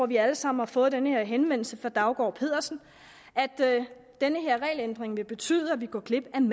vi alle sammen har fået den her henvendelse fra daugaard pedersen at den her regelændring vil betyde at vi går glip af en